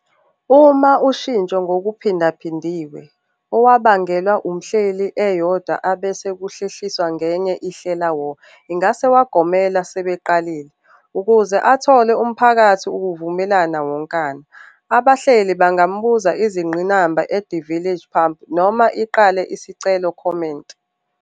Uma ushintsho ngokuphindaphindiwe owabangelwa umhleli eyodwa abese ukuhlehliswa ngenye, i "Hlela war" ingase wagomela ukuba sebeqale. Ukuze athole umphakathi ukuvumelana wonkana, abahleli angamvusa izingqinamba at the Village Pump noma iqale isicelo Comment.